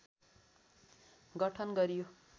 गठन गरियो